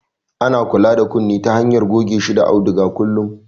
Ana kula da kunne ta hanyar goge shi da auduga kullum